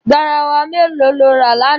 Garawa mélòó ló rà lánàá?